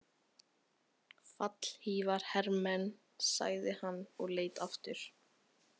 Fallhlífarhermenn, sagði hann og leit aftur.